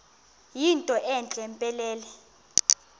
yinto entle mpelele